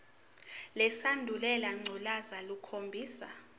lesandulela ngculazi lukhombisa